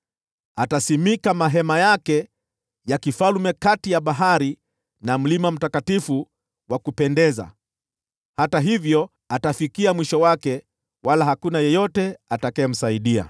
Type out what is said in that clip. Atasimika hema zake za ufalme kati ya bahari na mlima mtakatifu wa kupendeza. Hata hivyo, atafikia mwisho wake, wala hakuna yeyote atakayemsaidia.